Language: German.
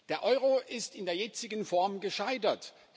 Der Euro ist in der jetzigen Form gescheitert.